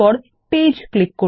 page click করুন